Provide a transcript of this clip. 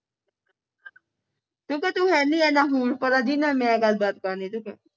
ਤੂੰ ਕਹਿ ਤੂੰ ਹੈ ਨਹੀਂ ਇਹਨਾਂ ਹੁਰਪਰਾ ਜੀਹਦੇ ਨਾਲ ਮੈਂ ਗੱਲਬਾਤ ਕਰਨੀ ਤੂੰ ਕਹਿ